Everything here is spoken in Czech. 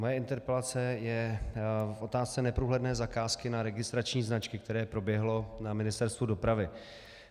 Moje interpelace je k otázce neprůhledné zakázky na registrační značky, které proběhlo na Ministerstvu dopravy.